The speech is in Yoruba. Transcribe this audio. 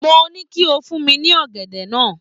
Mo ní kó fún mí ní ọ̀gẹ̀dẹ̀ náà